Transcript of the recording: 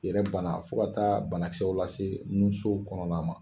Yɛrɛ banna fo ka taa banakisɛw lase nunso kɔnɔna ma